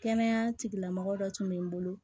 Kɛnɛya tigilamɔgɔ dɔ tun bɛ n bolo